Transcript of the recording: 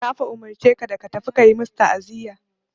Na fa umurce ka ka tafi ka yi masu ta'aziya.